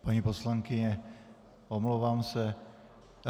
Paní poslankyně, omlouvám se.